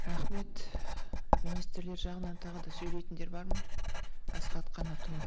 рахмет министрлер жағынан тағы да сөйлейтіндер бар ма асхат қанатұлы